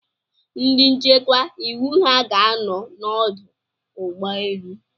Ndị nchekwa iwu ha ga-anọ n'ọdụ ụgbọ elu?